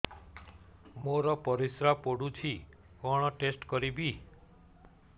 ମୋର ପରିସ୍ରା ପୋଡୁଛି କଣ ଟେଷ୍ଟ କରିବି